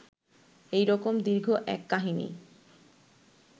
ঐ রকম দীর্ঘ এক কাহিনী